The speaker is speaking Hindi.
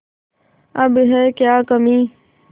अब है क्या कमीं